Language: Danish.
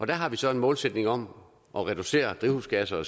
der har vi så en målsætning om at reducere drivhusgasser og